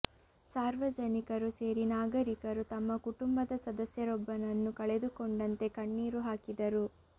ಸಾರ್ವಜನಿಕರು ಸೇರಿ ನಾಗರಿಕರು ತಮ್ಮ ಕುಟುಂಬದ ಸದಸ್ಯರೊಬ್ಬನನ್ನು ಕಳೆದುಕೊಂಡಂತೆ ಕಣ್ಣೀರು ಹಾಕಿದರು